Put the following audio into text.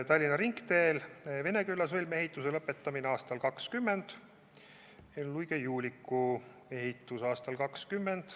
Tallinna ringteel asuva Veneküla sõlme ehitus lõpetatakse aastal 2020 ja ka Luige–Juuliku ehitus lõpetatakse aastal 2020.